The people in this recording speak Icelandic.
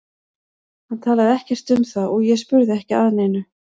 Hann talaði ekkert um það og ég spurði ekki að neinu.